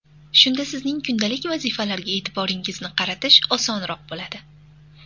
Shunda sizning kundalik vazifalarga e’tiboringizni qaratish osonroq bo‘ladi.